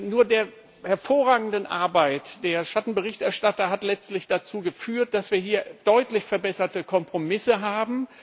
Nur die hervorragende Arbeit der Schattenberichterstatter hat letztlich dazu geführt, dass wir hier deutlich verbesserte Kompromisse haben.